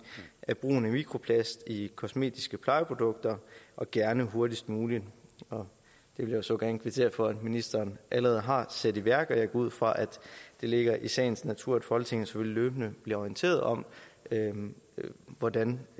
af brugen af mikroplast i kosmetiske plejeprodukter og gerne hurtigst muligt og jeg vil så gerne kvittere for at ministeren allerede har sat det i værk og jeg går ud fra at det ligger i sagens natur at folketinget løbende bliver orienteret om hvordan